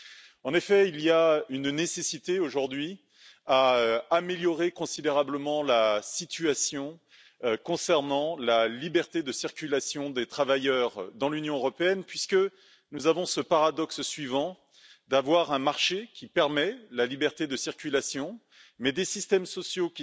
Il est en effet nécessaire aujourd'hui d'améliorer considérablement la situation concernant la liberté de circulation des travailleurs dans l'Union européenne, puisque nous sommes face au paradoxe suivant un marché permettant la liberté de circulation, mais des systèmes sociaux